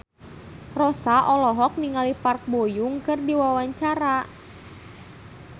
Rossa olohok ningali Park Bo Yung keur diwawancara